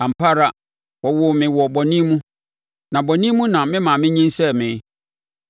Ampa ara wɔwoo me wɔ bɔne mu, na bɔne mu na me maame nyinsɛnee me.